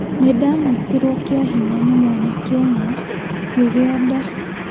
Niĩ ndanyitirwo kĩahinya nĩ mwanake ũmwe ngĩgĩa nda